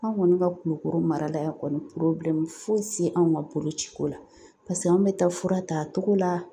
An kɔni ka Kulukoro mara la yan kɔni foyi si anw ka boloci ko la paseke anw bɛ taa fura t'a cogo la .